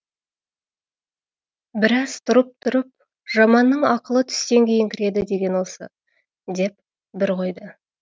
біраз тұрып тұрып жаманның ақылы түстен кейін кіреді деген осы деп бір қойды